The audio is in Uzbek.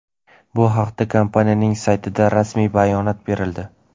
Bu haqda kompaniyaning saytida rasmiy bayonot berildi.